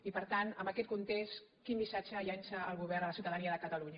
i per tant en aquest context quin missatge llança el govern a la ciutadania de catalunya